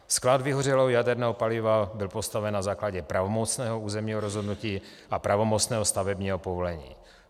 Sklad vyhořelého jaderného paliva byl postaven na základě pravomocného územního rozhodnutí a pravomocného stavebního povolení.